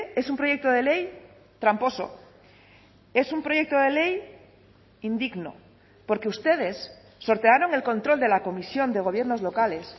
es un proyecto de ley tramposo es un proyecto de ley indigno porque ustedes sortearon el control de la comisión de gobiernos locales